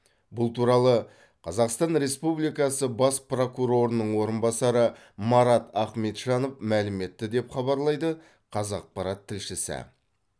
бұл туралы қазақстан республикасы бас прокурорының орынбасары марат ахметжанов мәлім етті деп хабарлайды қазақпарат тілшісі